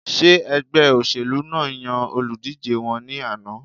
Ṣé ẹgbẹ́ óṣèlú náà yan olùdíjé wọn ní àná?